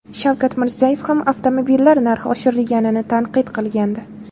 Shavkat Mirziyoyev ham avtomobillar narxi oshirilganini tanqid qilgandi .